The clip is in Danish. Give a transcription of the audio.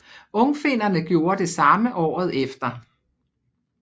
Ungfinnerne gjorde det samme året efter